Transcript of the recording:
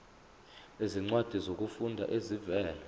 izincwadi zokufunda ezivela